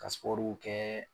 Ka sipɔruw kɛ